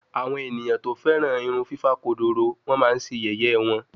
Awon eyan to feran irun fifa kodoro won ma Se yeye won